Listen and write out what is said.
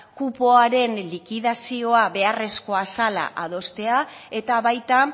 kupoaren likidazioa beharrezkoa zela adostea eta baita